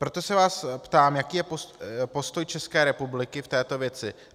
Proto se vás ptám, jaký je postoj České republiky v této věci.